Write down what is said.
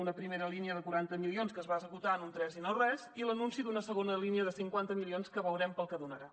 una primera línia de quaranta milions que es va esgotar en un tres i no res i l’anunci d’una segona línia de cinquanta milions que veurem per al que donarà